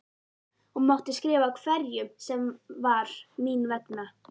Hún mátti skrifa hverjum sem var mín vegna.